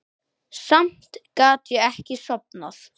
Samt gat ég ekki sofnað.